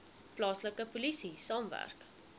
plaaslike polisie saamwerk